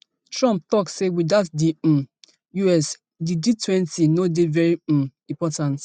trump tok say without di um us di gtwenty no dey very um important